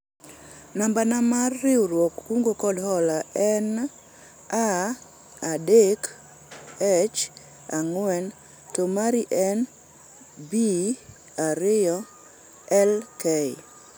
namba na mar riwruog kungo kod hola en A3H4 to mari en B2LK